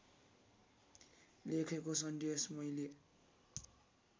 लेखेको सन्देश मैले